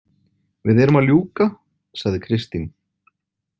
Við erum að ljúka, sagði Kristín.